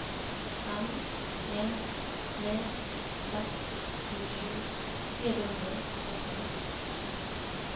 fem en tre seks tjuesju fire hundre og førtiseks